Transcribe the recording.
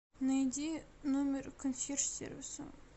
найди номер консьерж сервиса